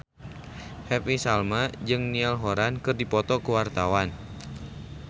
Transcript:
Happy Salma jeung Niall Horran keur dipoto ku wartawan